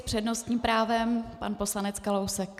S přednostní právem pan poslanec Kalousek.